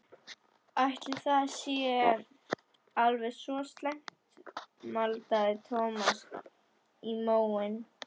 Ætli það sé alveg svo slæmt maldaði Thomas í móinn.